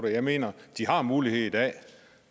jeg mener at de har mulighed i dag